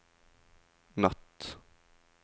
natt